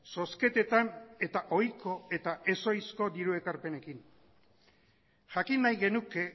zozketetan eta ohiko eta ezohizko diru ekarpenekin jakin nahi genuke